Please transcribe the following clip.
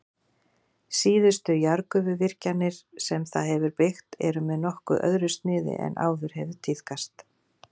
Síðustu jarðgufuvirkjanir sem það hefur byggt eru með nokkuð öðru sniði en áður hefur tíðkast.